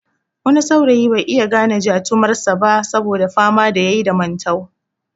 Wani saurayi bai iya gane jatumar sa ba saboda fama da yayi da mantau